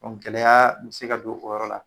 Bon gɛlɛyaya n bɛ se ka don o yɔrɔ la